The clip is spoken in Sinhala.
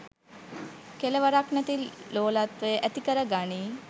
කෙළවරක් නැති ලෝලත්වය ඇතිකර ගනියි.